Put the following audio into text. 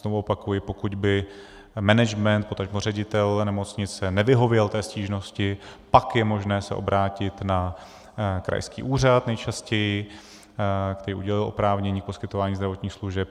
Znovu opakuji, pokud by management, potažmo ředitel nemocnice nevyhověl té stížnosti, pak je možné se obrátit na krajský úřad nejčastěji, který udělil oprávnění k poskytování zdravotních služeb.